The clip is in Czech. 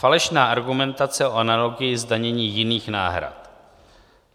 Falešná argumentace o analogii zdanění jiných náhrad